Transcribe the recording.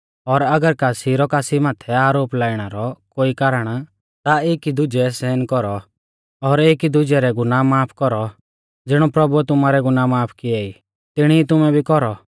और अगर कासी रौ कासी माथै आरोप लाइणा रौ कोई कारण ता एकी दुजै सैहन कौरौ और एकी दुजै रै गुनाह माफ कौरौ ज़िणौ प्रभुऐ तुमारै गुनाह माफ कियै ई तिणी ई तुमै भी कौरौ